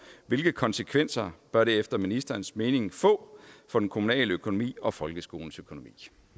hvilke konsekvenser bør det efter ministerens mening få for den kommunale økonomi og folkeskolens økonomi